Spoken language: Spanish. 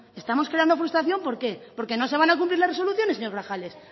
estamos creando frustración por qué porque no se van a cumplir las resoluciones señor grajales